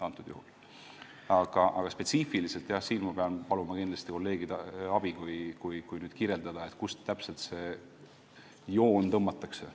Aga kui te tahate spetsiifilisemat vastust, siis ma pean paluma kolleegide abi, et saaks kirjeldada, kuhu see joon täpselt tõmmatakse.